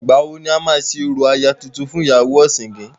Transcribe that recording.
Ìgbàwo ni a máa ṣe orò aya tuntun fún ìyàwó ọ̀sìngín.?